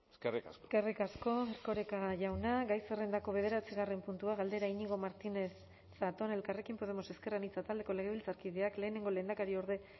eskerrik asko eskerrik asko erkoreka jauna gai zerrendako bederatzigarren puntua galdera iñigo martinez zatón elkarrekin podemos ezker anitza taldeko legebiltzarkideak lehenengo lehendakariorde